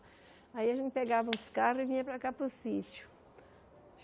Aí a gente pegava os carros e vinha para cá, para o sítio.